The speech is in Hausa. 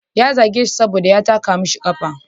Ya zage shi saboda ya taka masa kafa.